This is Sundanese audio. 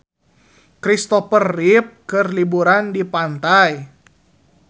Kristopher Reeve keur liburan di pantai